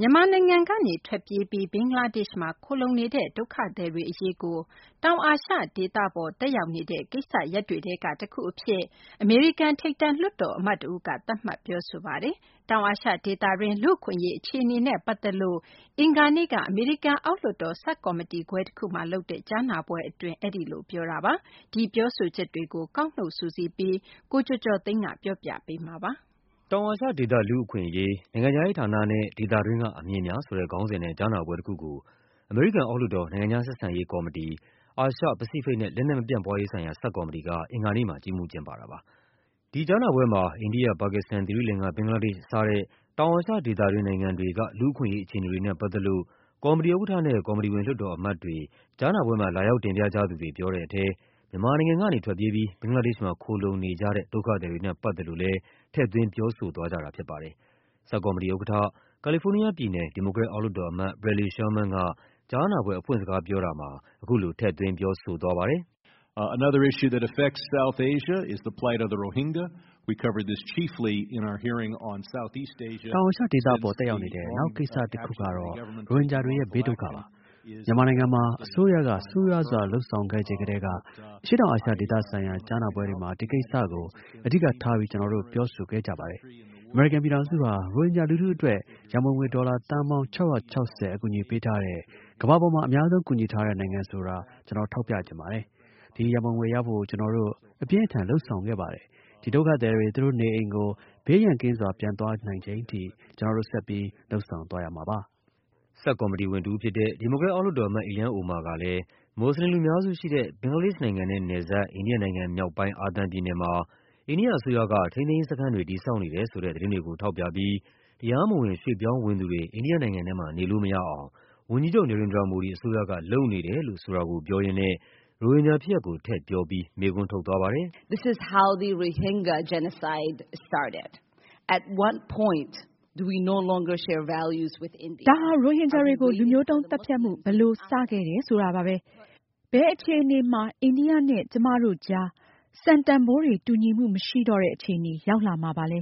မြန်မာနိုင်ငံကနေထွက်ပြေးပြီး ဘင်္ဂလားဒေ့ရှ်မှာခိုလှုံနေတဲ့ ဒုက္ခသည်တွေအရေးကို တောင်အာရှဒေသပေါ် သက်ရောက်နေတဲ့ ကိစ္စရပ်တွေထဲကတခုအဖြစ် အမေရိကန် ထိပ်တန်းလွှတ်တော်အမတ်တဦးက သတ်မှတ်ပြောဆိုပါတယ်။ တောင်အာရှဒေသတွင်း လူ့အခွင့်အရေးအခြေအနေနဲ့ ပတ်သက်လို့ အင်္ဂါနေ့က အမေရိကန်အောက်လွှတ်တော် ဆပ်ကော်မတီခွဲ တခုမှာလုပ်တဲ့ ကြားနာပွဲအတွင်း အဲဒီလိုပြောသွားတာပါ။ ဒီပြောဆိုချက်တွေကို ကောက်နုတ်စုစည်းပြီး ကိုကျော်ကျော်သိန်းက ပြောပြပါမယ်။ “တောင်အာရှဒေသ လူ့အခွင့်အရေး - နိုင်ငံခြားရေးဌာနနဲ့ ဒေသတွင်းက အမြင်များ” ဆိုတဲ့ခေါင်းစဉ်နဲ့ ကြားနာပွဲတခုကို အမေရိကန်အောက်လွှတ်တော်၊ နိုင်ငံခြားဆက်ဆံရေးကော်မတီ၊ အာရှ၊ ပစိဖိတ်နဲ့ လက်နက်မပြန့်ပွားရေးဆိုင်ရာ ဆပ်ကော်မတီ က အင်္ဂါနေ့မှာ ကြီးမှူးကျင်းပတာပါ။ ဒီကြားနာပွဲမှာ အိန္ဒိယ၊ ပါကစ္စတန်၊ သီရိလင်္ကာ၊ ဘင်္ဂလားဒေ့ရှ် စတဲ့နိုင်ငံတွေက လူ့အခွင့် အရေး အခြေအနေတွေနဲ့ ပတ်သက်လို့ ကော်မတီဥက္ကဋ္ဌနဲ့ ကော်မတီဝင် လွှတ်တော်အမတ်တွေ၊ ကြားနာပွဲမှာ လာရောက် တင်ပြ ကြသူတွေ ပြောတဲ့ထဲ မြန်မာနိုင်ငံကနေထွက်ပြေးပြီး ဘင်္ဂလားဒေ့ရှ်မှာ ခိုလှုံနေကြတဲ့ ဒုက္ခသည်တွေနဲ့ ပတ်သက်လို့လည်း ထည့်သွင်းပြောဆိုသွားကြတာဖြစ်ပါတယ်။ ဆပ်ကော်မတီဥက္ကဋ္ဌ၊ ကာလီဖိုးနီးယားပြည်နယ်၊ ဒီမိုကရက် အောက်လွှတ်တော်အမတ် Bradley Sherman က ကြားနာပွဲအဖွင့် စကားပြောတာမှာ အခုလို ထည့်သွင်းပြောဆိုသွားပါတယ်။ “တောင်အာရှဒေသပေါ် သက်ရောက်နေတဲ့ နောက်ကိစ္စရပ်တခုကတော့ ရိုဟင်ဂျာတွေရဲ့ ဘေးဒုက္ခပါ။ မြန်မာ နိုင်ငံမှာ အစိုးရက ဆိုးရွားစွာ လုပ်ဆောင်ခဲ့ချိန်ကတည်းက အရှေ့တောင် အာရှဒေသဆိုင်ရာ ကြားနာပွဲတွေမှာ ဒီကိစ္စကို အဓိက ထားပြီး ကျနော်တို့ ပြောဆိုခဲ့ကြပါတယ်။ အမေရိကန်ပြည်ထောင်စုဟာ ရိုဟင်ဂျာလူထုအတွက် ရန်ပုံငွေ ဒေါ်လာသန်းပေါင်း ၆၆၀ အကူအညီပေးထားတဲ့ ကမ္ဘာပေါ်မှာ အများဆုံး ကူညီထားတဲ့နိုင်ငံဆိုတာ ကျနော်ထောက်ပြချင်ပါတယ်။ ဒီရန်ပုံငွေရဖို့ ကျနော်တို့ အပြင်းအထန် လုပ်ဆောင်ခဲ့ပါတယ်။ ဒီဒုက္ခသည်တွေ သူတို့နေအိမ်ကို ဘေးရန်ကင်းစွာ ပြန်သွားနိုင်ချိန်ထိ ကျနော်တို့ ဆက်ပြီး လုပ်ဆောင်သွားရမှာပါ။” ဆပ်ကော်မတီဝင် ဒီမိုကရက် အောက်လွှတ်တော်အမတ် Ilhan Omar ကလည်း မွတ်ဆလင်လူများစုရှိတဲ့ ဘင်္ဂလားဒေ့ရှ်နိုင်ငံနဲ့ နယ်စပ် အိန္ဒိယနိုင်ငံမြောက်ပိုင်း အာသမ်ပြည်နယ်မှာ အိန္ဒိယအစိုးရက ထိန်းသိမ်းရေးစခန်းတွေ တည်ဆောက်နေတယ်ဆိုတဲ့ သတင်းတွေကိုထောက်ပြပြီး တရားမဝင်ရွှေ့ပြောင်းဝင်သူတွေ အိန္ဒိယနိုင်ငံထဲမှာ နေလို့မရအောင် ဝန်ကြီးချုပ် Narendra Modi အစိုးရက လုပ်နေတယ်လို့ဆိုတာကိုပြောရင်းနဲ့ ရိုဟင်ဂျာဖြစ်ရပ်ကို ထည့်ပြောပြီး မေးခွန်းထုတ်သွားပါတယ်။ “ဒါဟာ ရိုဟင်ဂျာတွေကို လူမျိုးတုန်းသတ်ဖြတ်မှု ဘယ်လိုစခဲ့တယ်ဆိုတာပါပဲ။ ဘယ်အခြေအနေမှာ အိန္ဒိယနဲ့ ကျမ တို့ကြား စံတန်ဖိုးတွေ တူညီမှုမရှိတော့တဲ့အခြေအနေ ရောက်လာမှာပါလဲ…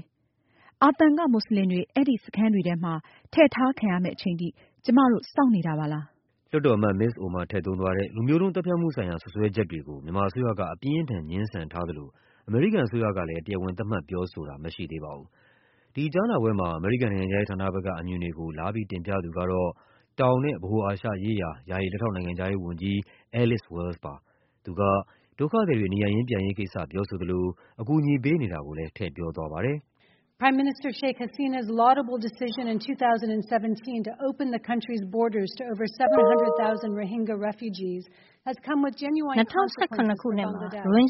အာသမ်က မွတ်ဆလင်တွေ အဲဒီစခန်းတွေထဲမှာ ထည့်ထားခံရမယ့်အချိန်ထိ ကျမတို့ စောင့်နေတာပါလား …” လွှတ်တော်အမတ် မစ္စ Omar ထည့်သုံးသွားတဲ့ လူမျိုးတုံးသတ်ဖြတ်မှုဆိုင်ရာ စွပ်စွဲချက်တွေကို မြန်မာအစိုးရက အပြင်းအထန် ငြင်းထားသလို အမေရိကန်အစိုးရကလည်း တရားဝင် သတ်မှတ်ပြောဆိုတာ မရှိသေးပါဘူး။ ဒီကြားနာပွဲမှာ အမေရိကန်နိုင်ငံခြားရေးဌာနဘက်က အမြင်တွေကို လာပြီးတင်ပြသူကတော့ တောင်နဲ့ ဗဟိုအာရှရေးရာ ယာယီ လက်ထောက်နိုင်ငံခြားရေးဝန်ကြီး Alice Wells ပါ။ သူက ဒုက္ခသည်တွေ နေရပ်ရင်းပြန်ရေးကိစ္စပြောဆိုသလို အကူအညီပေးနေ တာကိုလည်း ထည့်ပြောသွားပါတယ်။ “၂၀၁၇ ခုနှစ်မှာ ရိုဟင်ဂျ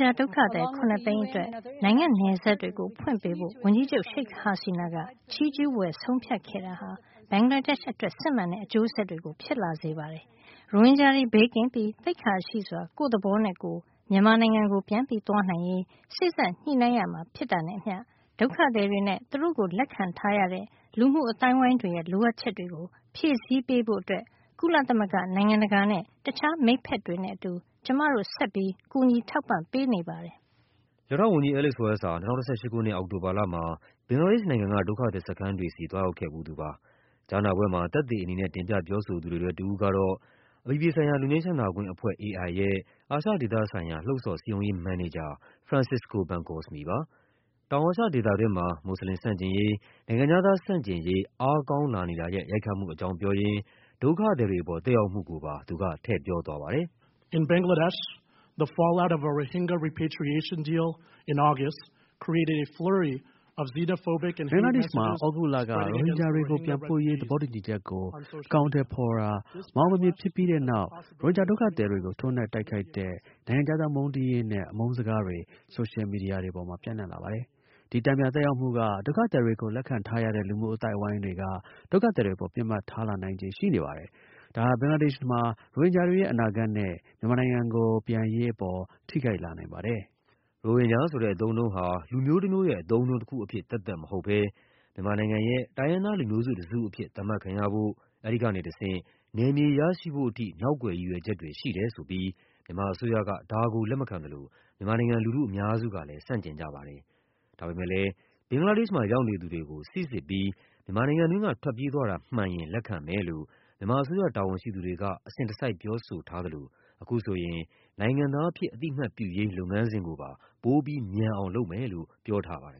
ာဒုက္ခသည် ၇၀၀,၀၀၀ အတွက် နိုင်ငံနယ်စပ်တွေကို ဖွင့်ပေးဖို့ ဝန်ကြီးချုပ် Sheikh Hasina က ချီးကျူးဖွယ် ဆုံးဖြတ်ခဲ့တာဟာ ဘင်္ဂလားဒေ့ရှ်အတွက် စစ်မှန်တဲ့အကျိုးဆက်တွေ ဖြစ်လာစေပါတယ်။ ရိုဟင်ဂျာတွေ ဘေးကင်းပြီး သိက္ခာရှိစွာ ကိုယ့်သဘောနဲ့ကိုယ် မြန်မာနိုင်ငံကို ပြန်သွားနိုင်ရေး စေ့စပ်ညှိနှိုင်းကြရမှာဖြစ်တာနဲ့အမျှ ဒုက္ခသည် တွေနဲ့ သူတို့ကိုလက်ခံထားရတဲ့ လူမှုအဝန်းအဝိုင်းတွေရဲ့ လိုအပ်ချက်တွေကို ဖြည့်ဆည်းပေးဖို့ ကုလသမဂ္ဂ၊ နိုင်ငံတကာနဲ့ တခြား မိတ်ဘက်တွေနဲ့အတူ ကျမတို့ဆက်ပြီး ကူညီထောက်ပံ့ပေးနေပါတယ်။” လက်ထောက်ဝန်ကြီး Alice Wells ဟာ ၂၀၁၈ ခုနှစ် အောက်တိုဘာလမှာ ဘင်္ဂလားဒေ့ရှ်နိုင်ငံက ဒုက္ခသည်စခန်းတွေဆီ သွားရောက်ခဲ့ဖူးသူပါ။ ကြားနာပွဲမှာ သက်သေအနေနဲ့ တင်ပြပြောဆိုသူတွေထဲ တဦးကတော့ အပြည်ပြည်ဆိုင်ရာ လွတ်ငြိမ်းချမ်းသာခွင့်အဖွဲ့ ရဲ့ အာရှဒေသဆိုင်ရာ လှုံ့ဆော်စည်းရုံးရေးမန်နေဂျာ Francisco Bencosme ပါ။ တောင်အာရှဒေသတွင်းမှာ မွတ်ဆလင်ဆန့်ကျင် ရေး၊ နိုင်ငံခြားသားဆန့်ကျင်ရေး အားကောင်းလာနေတာရဲ့ ရိုက်ခတ်မှုအကြောင်းပြောရင်း ဒုက္ခသည်တွေပေါ် သက်ရောက်မှု ကိုပါ သူကထည့်ပြောသွားပါတယ်။ “ဘင်္ဂလားဒေ့ရှ်မှာ သြဂုတ်လက ရိုဟင်ဂျာတွေကိုပြန်ပို့ရေး သဘောတူညီချက်ကို အကောင်အထည် ဖော်တာ မအောင်မမြင်ဖြစ်ပြီးတဲ့နောက် ရိုဟင်ဂျာဒုက္ခသည်တွေကို ထိုးနှက်တိုက်ခိုက်တဲ့ နိုင်ငံခြားသားမုန်းတီးရေးနဲ့ အမုန်း စကားတွေ ဆိုရှယ်မီဒီယာပေါ်မှာ ပြန့်နှံ့လာပါတယ်။ ဒီတန်ပြန်သက်ရောက်မှုက ဒုက္ခသည်တွေကိုလက်ခံထားရတဲ့ လူမှုအဝန်း အဝိုင်းတွေက ဒုက္ခသည်တွေအပေါ် ပစ်မှတ်ထားလာနိုင်ခြေရှိနေပါတယ်။ ဒါဟာ ဘင်္ဂလားဒေ့ရှ်မှာ ရိုဟင်ဂျာတွေရဲ့ အနာဂတ်နဲ့ မြန်မာနိုင်ငံကိုပြန်ရေးပေါ် ထိခိုက်လာနိုင်ပါတယ်။” ရိုဟင်ဂျာဆိုတဲ့အသုံးအနှုန်းဟာ လူမျိုးတမျိုးရဲ့ အသုံးအနှုန်းတခုအဖြစ် သက်သက်မဟုတ်ဘဲ မြန်မာနိုင်ငံရဲ့ တိုင်းရင်းသား လူမျိုး စုတစုအဖြစ် သတ်မှတ်ခံရဖို့၊ အဲဒီကနေတဆင့် နယ်မြေရရှိဖို့အထိ နောက်ကွယ်ရည်ရွယ်ချက်တွေရှိတယ်ဆိုပြီး မြန်မာအစိုးရက ဒါကိုလက်မခံသလို မြန်မာနိုင်ငံ လူထုအများစုကလည်း ဆန့်ကျင်ကြပါတယ်။ ဒါပေမယ့်လည်း ဘင်္ဂလားဒေ့ရှ်မှာရောက်နေသူတွေကို စိစစ်ပြီး မြန်မာနိုင်ငံတွင်းက ထွက်ပြေးသွားတာမှန်ရင် လက်ခံမယ်လို့ မြန်မာအစိုးရတာဝန်ရှိသူတွေက အစဉ်တစိုက်ပြောဆိုထားသလို အခုဆိုရင် နိုင်ငံသားအဖြစ် အသိအမှတ်ပြုရေး လုပ်ငန်းစဉ်ကိုပါ ပိုပြီးမြန်အောင်လုပ်မယ်လို့ ပြောထားပါတယ်